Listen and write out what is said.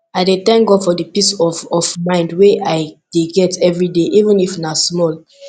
i dey tank god for di peace of of mind wey i dey get evriday even if na small